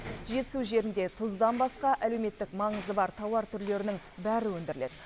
жетісу жерінде тұздан басқа әлеуметтік маңызы бар тауар түрлерінің бәрі өндіріледі